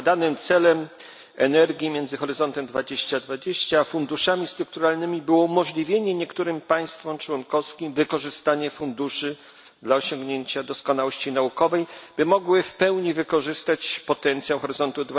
Zakładanym celem synergii między Horyzontem 2020 a funduszami strukturalnymi było umożliwienie niektórym państwom członkowskim wykorzystanie funduszy do osiągnięcia doskonałości naukowej, by mogły w pełni wykorzystać potencjał Horyzontu